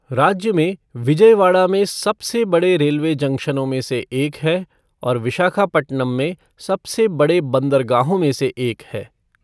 राज्य में विजयवाड़ा में सबसे बड़े रेलवे जंक्शनों में से एक है और विशाखापटनम में सबसे बड़े बंदरगाहों में से एक है।